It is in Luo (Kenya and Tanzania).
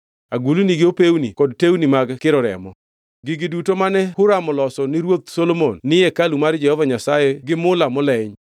Agulni gi opewni kod tewni mag kiro remo. Gigi duto mane Huram oloso ni ruoth Solomon ni hekalu mar Jehova Nyasaye nolos gi mula moleny.